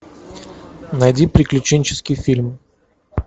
найди приключенческий фильм